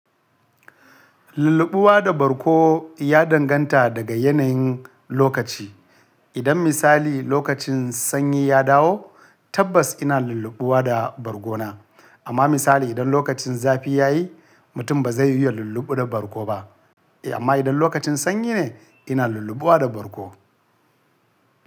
Lulluɓuwa da bargo ya danganta daga yanayin lokaci. Idan misali lokacin sanyi ya dawo tabbas ina lulluɓuwa da bargona. Amma misali idan lokacin zafi ya yi, mutum ba zai iya lulluɓu da bargo ba. Eh amma idan lokacin sanyi ne ina lulluɓuwa da bargo.